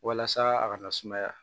Walasa a kana sumaya